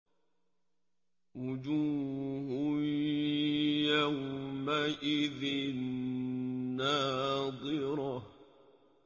وُجُوهٌ يَوْمَئِذٍ نَّاضِرَةٌ